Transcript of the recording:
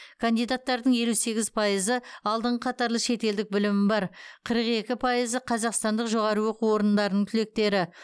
кандидаттардың елу сегіз пайызы алдыңғы қатарлы шетелдік білімі бар қырық екі пайызы қазақстандық жоғары оқу орындарының түлектері